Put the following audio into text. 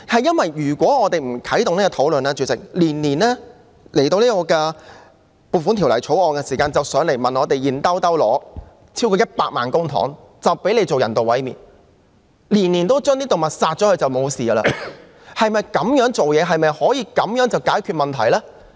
主席，如果我們不啟動討論，當局每年透過《撥款條例草案》向立法會申請超過100萬元公帑，讓漁護署進行人道毀滅，每年都把動物殺掉就了事，處事方式是否這樣的呢？